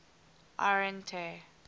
arhente